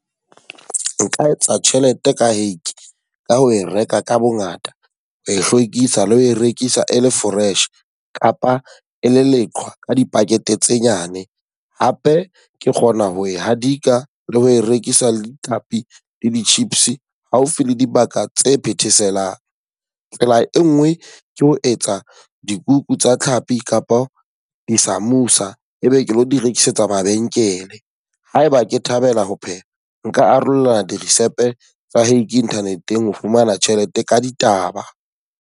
Nka etsa tjhelete ka hake ka ho e reka ka bo ngata, ho e hlwekisa le ho e rekisa e le fresh. Kapa e le leqhwa ka di-packet tse nyane. Hape ke kgona ho e hadika le ho e rekisa le di-chips haufi le dibaka tse phetheselang. Tsela e nngwe ke ho etsa dikuku tsa tlhapi kapa di-samoosa, ebe ke lo di rekisetsa mabenkele. Haeba ke thabela ho pheha, nka arola di-recipe tsa hake internet-eng ho fumana tjhelete ka ditaba.